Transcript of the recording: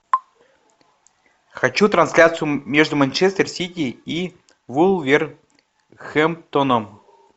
хочу трансляцию между манчестер сити и вулверхэмптоном